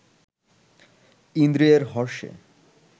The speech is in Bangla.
ইন্দ্রিয়ের হর্ষে